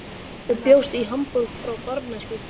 Þú bjóst í Hamborg frá barnæsku.